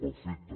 perfecte